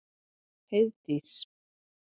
Heiðdís